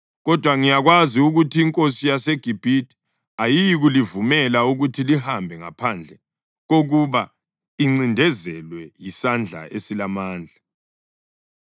Kodwa ngiyakwazi ukuthi inkosi yaseGibhithe ayiyikulivumela ukuthi lihambe ngaphandle kokuba incindezelwe yisandla esilamandla.